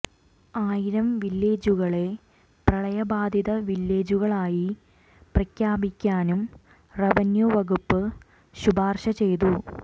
ആയിരം വില്ലേജുകളെ പ്രളയബാധിത വില്ലേജുകളായി പ്രഖ്യാപിക്കാനും റവന്യൂ വകുപ്പ് ശുപാര്ശ ചെയ്തു